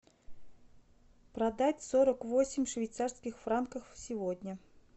продать сорок восемь швейцарских франков сегодня